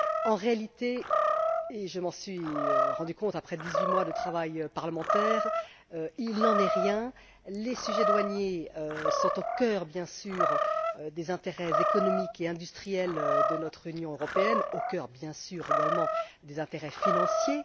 En réalité et je m'en suis rendu compte après dix huit mois de travail parlementaire il n'en est rien les sujets douaniers sont au cœur, bien sûr, des intérêts économiques et industriels de notre Union européenne, et bien sûr également au cœur de ses intérêts financiers.